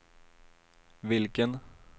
vilken